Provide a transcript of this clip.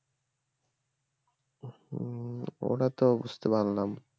ওটা তো বুঝতে পারলাম